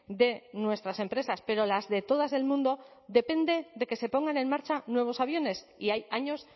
de nuestras empresas pero las de todas del mundo depende de que se pongan en marcha nuevos aviones y hay años